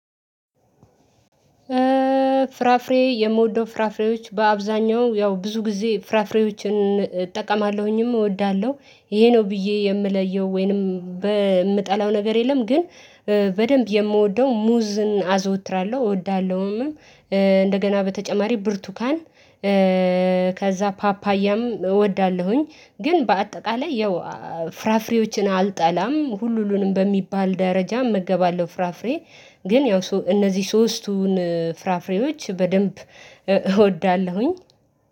ፍራፍሬ የምወደው ፍራፍሬዎች በአብዛኛው ያው ብዙ ጊዜ ፍራፍሬዎችን እጠቀማለሁኝም እወዳለሁ ይሄ ነው ብዬ የምለየው ወይንም በምጠላው ነገር የለም ግን በደንብ የምወደው ሙዝን አዘወትራለሁ እወዳለሁምም። እንደገና በተጨማሪ ብርቱካን። ከዛ ፓፓያም እወዳለሁኝ። ግን በአጠቃላይ ያው ፍራፍሬዎችን አልጠላም ሁሉንም በሚባል ደረጃ እመገባለሁ ፍራፍሬ። ግን ያው እነዚህ ሶስቱን ፍራፍሬዎች በደንብ እወዳለሁኝ።